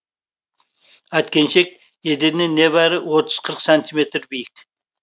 әткеншек еденнен небәрі отыз қырық сантиметр биік